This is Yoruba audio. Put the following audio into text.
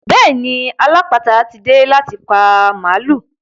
Bẹ́ẹ̀ni alápàáta tí dé láti pa màlúù.